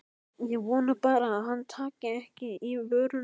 Ég vona bara að hann taki ekki í vörina.